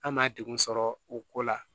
An ma degun sɔrɔ o ko la